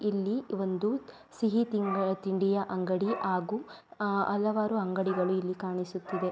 ಇಲ್ಲಿ ಒಂದು ಸಿಹಿ ತಿಂಗಳ್ ತಿಂಡಿಯ ಅಂಗಡಿ ಹಾಗು ಅಹ್ ಹಲವಾರು ಅಂಗಡಿಗಳು ಇಲ್ಲಿ ಕಾಣಿಸುತ್ತಿದೆ.